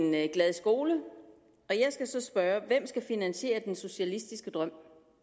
glad skole jeg skal så spørge hvem skal finansiere den socialistiske drøm